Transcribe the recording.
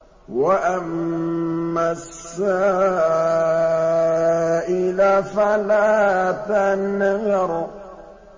وَأَمَّا السَّائِلَ فَلَا تَنْهَرْ